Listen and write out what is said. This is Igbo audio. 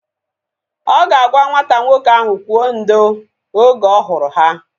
Ọ ga-agwa nwata nwoke ahụ kwụọ ndo! Oge ọ hụrụ ha